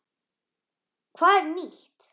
Hvað er nýtt?